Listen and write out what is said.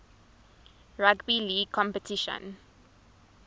rugby league competition